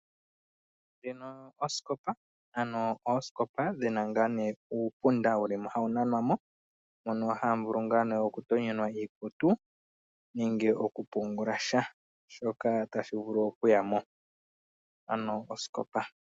Ndjino osikopa, ano osikopa dhina ngaa ne uupunda wuli mo hawu nanwa mo. Mono hamu vulu ngaa ne okutonyelwa iikutu nenge oku pungula sha shoka tashi vulu okuya mo, ano osikopa.